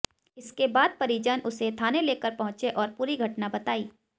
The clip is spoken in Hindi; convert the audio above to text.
इसके बाद परिजन उसे थाने लेकर पहुंचे और पूरी घटना बताई